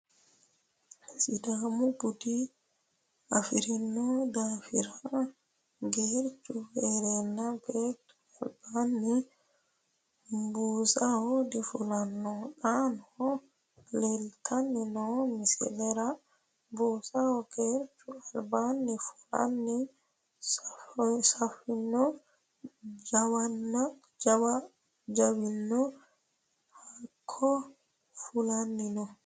Sidaamu Bude afirinno daaffira geerichchu heerenna beettu alibbanni buusaho difullanno xaanno leelittanni noo misilera buusaho geerichchu alibaanni fulanna suffinno jawinno Hakko fullanninno